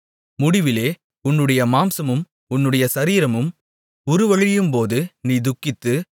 முடிவிலே உன்னுடைய மாம்சமும் உன்னுடைய சரீரமும் உருவழியும்போது நீ துக்கித்து